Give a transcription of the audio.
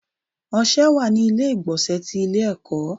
Ọṣẹ wà ní ilé ìgbọ̀nsẹ̀ ti ilé ẹ̀kọ́.